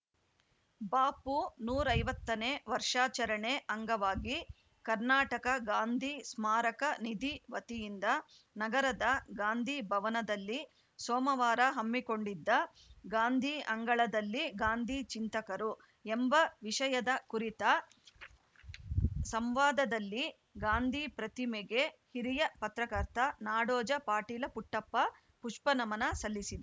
ಬಾಪು ನೂರ ಐವತ್ತನೇ ವರ್ಷಾಚರಣೆ ಅಂಗವಾಗಿ ಕರ್ನಾಟಕ ಗಾಂಧಿ ಸ್ಮಾರಕ ನಿಧಿ ವತಿಯಿಂದ ನಗರದ ಗಾಂಧಿ ಭವನದಲ್ಲಿ ಸೋಮವಾರ ಹಮ್ಮಿಕೊಂಡಿದ್ದ ಗಾಂಧೀ ಅಂಗಳದಲ್ಲಿ ಗಾಂಧೀ ಚಿಂತಕರು ಎಂಬ ವಿಷಯದ ಕುರಿತ ಸಂವಾದದಲ್ಲಿ ಗಾಂಧೀ ಪ್ರತಿಮೆಗೆ ಹಿರಿಯ ಪತ್ರಕರ್ತ ನಾಡೋಜ ಪಾಟೀಲ ಪುಟ್ಟಪ್ಪ ಪುಷ್ಪನಮನ ಸಲ್ಲಿಸಿ